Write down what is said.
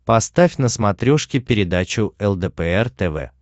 поставь на смотрешке передачу лдпр тв